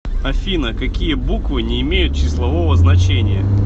афина какие буквы не имеют числового значения